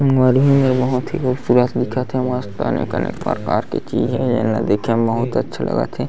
मरही मेर बहुत ही खूबसूरत दिखत हे मस्त काले कलर का अनेक-अनेक प्रकार के चीज हे ऐला देखे म बहुत अच्छा लगत हे।